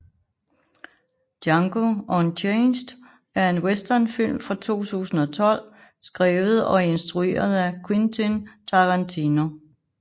Django Unchained er en westernfilm fra 2012 skrevet og instrueret af Quentin Tarantino